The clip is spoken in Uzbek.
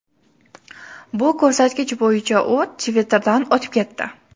Bu ko‘rsatkich bo‘yicha u Twitter’dan o‘zib ketdi.